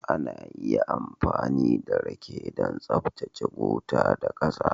Ana iya amfani da rake don tsaftace gutter da ƙasa